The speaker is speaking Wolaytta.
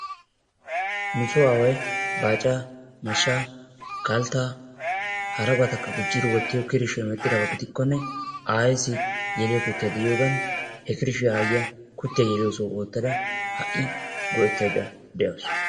Nu soo aaway baacaa mashshaa kalttaa harabatakka gujjidi wottiyoo kirishiyaan wottiyaaba gidikkone ayeesi yeeliyaa kuttiyaa de'iyoogan he kirishiyaa ayiyaa kuttiyaa yeliyoo sohuwaan woottada ha'i yelaydda de'awus.